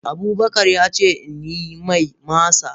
Abubakar ya ce in yi mai masa.